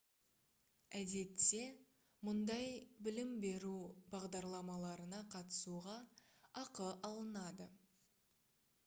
әдетте мұндай білім беру бағдарламаларына қатысуға ақы алынады